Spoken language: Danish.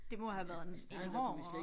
Det må have været en en hård